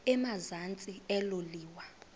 emazantsi elo liwa